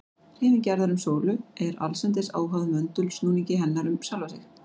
Hreyfing jarðar um sólu er allsendis óháð möndulsnúningi hennar um sjálfa sig.